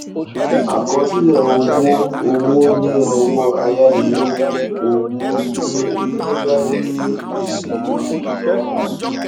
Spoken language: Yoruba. àkọsílẹ owó owó ní ọwọ ayánilówó owó ní ní báńkì onígbèsè àkójọ owó